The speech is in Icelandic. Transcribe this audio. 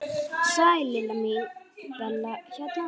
Sæl Lilla mín, Bella hérna.